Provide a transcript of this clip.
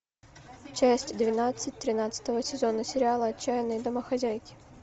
часть двенадцать тринадцатого сезона сериала отчаянные домохозяйки